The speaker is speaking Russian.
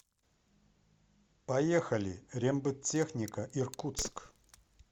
поехали рембыттехника иркутск